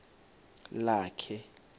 lakhe